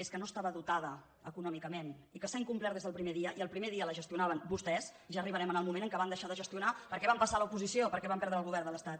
és que no estava dotada econòmicament i que s’ha incom·plert des del primer dia i el primer dia la gestionaven vostès ja arribarem al moment en què van deixar de gestionar perquè van passar a l’oposició perquè van perdre el govern de l’estat